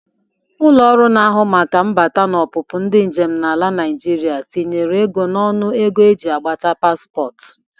Ụlọ ọrụ na-ahụ maka mbata na ọpụpụ ndị njem n'ala Naịjịrịa tinyere ego n'ọnụ ego e ji agbata paspọt.